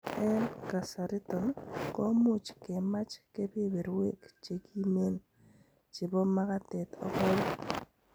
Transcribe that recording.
En kasariton, komuch kemach kebeberwek chekimine chebo makatet ak kowek.